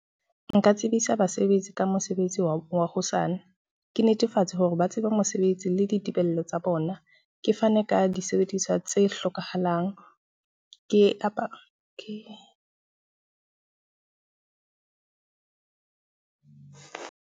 Nka tsebisa basebetsi ka mosebetsi wa hosane, ke netefatsa hore ba tsebe mosebetsi le ditebello tsa bona. Ke fane ka disebediswa tse hlokahalang ke apare ke.